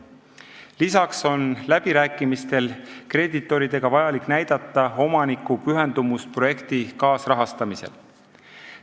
Lisaks on läbirääkimistel kreeditoridega vaja näidata omaniku pühendumust projekti kaasrahastamisele.